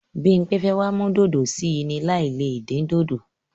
Bímpé fẹ́ wá mú dòdò sí í ni láì le dín dòdò.